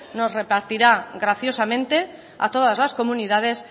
nos repartirá graciosamente a todas las comunidades